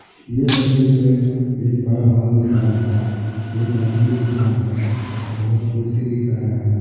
ये तस्वीर में एक बड़ा हॉल दिख रहा है एक आदमी दिख रहा है बहुत कुर्सी दिख रहा है।